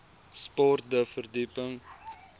sport de verdieping